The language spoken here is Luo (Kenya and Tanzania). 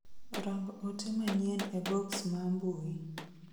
Rang ote manyien e boks ma mbui